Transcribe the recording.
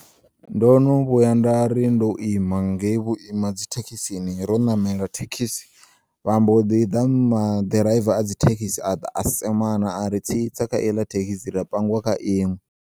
Ndono vhuya ndari ndo ima ngei vhuima dzithekisini ro namela thekisi vha mbo ḓi ḓa maḓiraiva a dzithekisi aḓa a semana ari tsitsa khaiḽa thekisi ra pangiwa kha iṅwe.